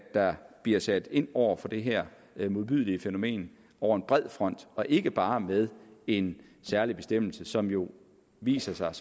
der bliver sat ind over for det her modbydelige fænomen over en bred kam og ikke bare med en særlig bestemmelse som jo viser sig